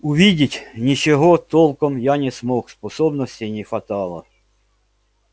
увидеть ничего толком я не смог способностей не хватало